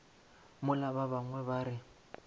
mola ba bangwe ba re